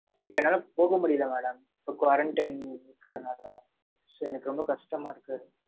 இப்ப, என்னால போக முடியலை, madam. இப்ப, quarantine இருக்கிறனால. So எனக்கு ரொம்ப கஷ்டமா இருக்கு.